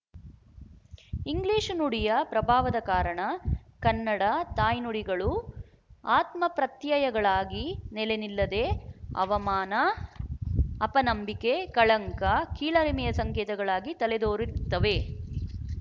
English ನುಡಿಯ ಪ್ರಭಾವದ ಕಾರಣ ಕನ್ನಡ ತಾಯ್ನುಡಿಗಳು ಆತ್ಮಪ್ರತ್ಯಯಗಳಾಗಿ ನೆಲೆನಿಲ್ಲದೇ ಅವಮಾನ ಅಪನಂಬಿಕೆ ಕಳಂಕ ಕೀಳರಿಮೆಯ ಸಂಕೇತಗಳಾಗಿ ತಲೆದೋರಿರುತ್ತವೆ